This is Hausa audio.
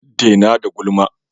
Dena da gulma!